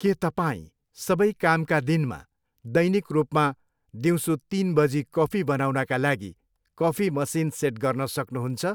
के तपाईँ सबै कामका दिनमा दैनिक रूपमा दिउँसो तिन बजी कफी बनाउनका लागि कफी मसिन सेट गर्न सक्नुहुन्छ?